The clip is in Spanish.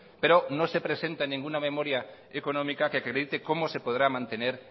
pero no se presenta en ninguna memoria económica que acredite cómo se podrá mantener